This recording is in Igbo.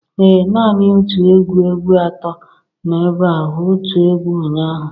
Ee nani otu egwu egwu ato no ebea otu egwu ụnyahụ